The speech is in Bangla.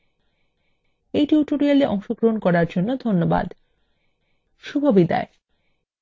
এই টিউটোরিয়ালএ অংশগ্রহন করার জন্য ধন্যবাদ শুভবিদায়